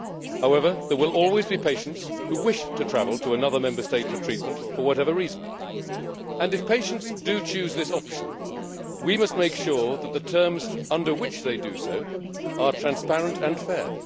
home. However, there will always be patients who wish to travel to another Member State for treatment, for whatever reason. If patients do choose this option, we must make sure that the terms under which they do so are transparent and